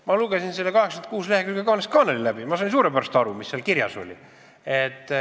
Ma lugesin selle 86 lehekülge kaanest kaaneni läbi ja sain suurepäraselt aru, mis seal kirjas oli.